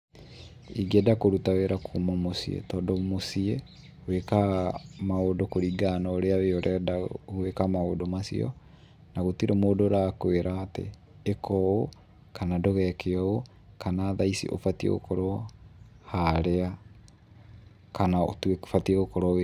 Ingĩenda kũruta wĩra kuuma mũciĩ, tondũ mũciĩ wĩkaga maũndũ kũringana na ũrĩa wee ũrenda gwĩka maũndũ macio, na gũtirĩ mũndũ ũrakwĩra atĩ ĩka ũũ, kana ndũgeke ũũ, kana thaa ici ũbatiĩ gũkorwo harĩa kana ũbatie wĩ.